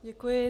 Děkuji.